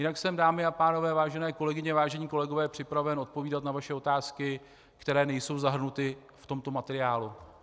Jinak jsem, dámy a pánové, vážené kolegyně, vážení kolegové, připraven odpovídat na vaše otázky, které nejsou zahrnuty v tomto materiálu.